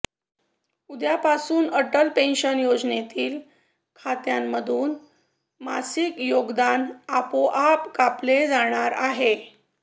उद्यापासून अटल पेन्शन योजनेतील खात्यांमधून मासिक योगदान आपोआप कापले जाणार आहे